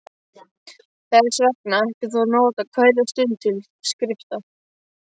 Þess vegna ættir þú að nota hverja stund til skrifta.